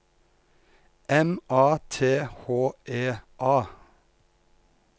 M A T H E A